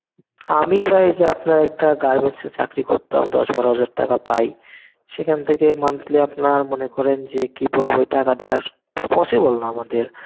আমি পাই যে আপনার একটা Garments এ চাকরি করতাম দশ বারো হাজার টাকা পাই. সেখান থেকে monthly আপনার মনে করেন যে কি বলব ওই টাকা দিয়া স~ possible না আমাদের.